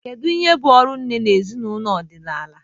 Kedu ihe bụ ọrụ nne na ezinụlọ ọdịnala?